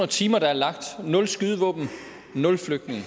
timer der er lagt nul skydevåben nul flygtninge